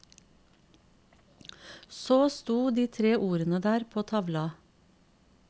Så stod de tre ordene der på tavla.